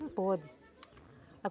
Não pode.